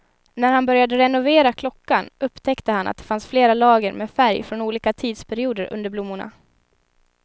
När han började renovera klockan upptäckte han att det fanns flera lager med färg från olika tidsperioder under blommorna.